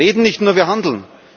Wir reden nicht nur, wir handeln.